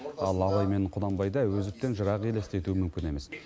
ал абай мен құнанбайды әуезовтен жырақ елестету мүмкін емес